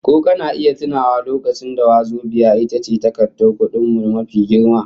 Ko kana iya tunawa lokacin da wazobiya ita ce takardar kudin mu mafi girma?